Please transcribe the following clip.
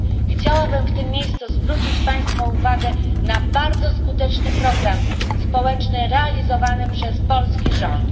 Chciałabym w tym miejscu zwrócić państwa uwagę na bardzo skuteczny program społeczny realizowany przez polski rząd.